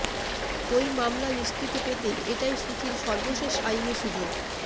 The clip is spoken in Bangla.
ওই মামলা নিস্কৃতি পেতে এটাই সু চির সর্বশেষ আইনী সুযোগ